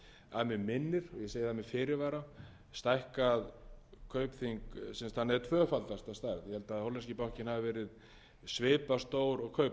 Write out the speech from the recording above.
að mig minnir og ég segi það með fyrirvara stækkað kaupþing sem þannig tvöfaldast að stærð ég held að hollenski bankinn hafi verið svipað stór og kaupþing hann hefur sem sagt